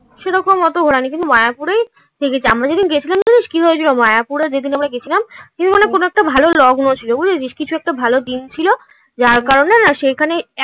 সেরকম অত ঘোড়ানি. কিন্তু মায়াপুরেই থেকেছি. আমরা যেদিন গেছিলাম জানিস কি হয়েছিল? মায়াপুরে যেদিন আমরা গেছিলাম কোনো একটা ভালো লগ্ন ছিল বুঝেছিস কিছু একটা ভালো দিন ছিল. যার কারণে না সেখানে এত